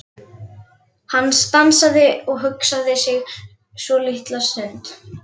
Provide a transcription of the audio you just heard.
Hann stansaði og hugsaði sig um svolitla stund.